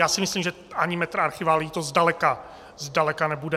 Já si myslím, že ani metr archiválií to zdaleka nebude.